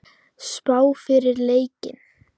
Spá fyrir leikinn?